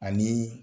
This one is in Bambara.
Ani